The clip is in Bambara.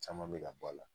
Caman bɛ ka bɔ a la